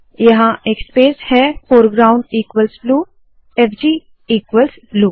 यहाँ एक स्पेस है foreground equals blue F G equals blue